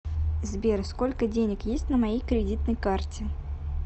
сбер сколько денег есть на моей кредитной карте